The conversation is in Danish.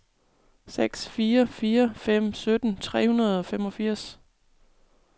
seks fire fire fem sytten tre hundrede og femogfirs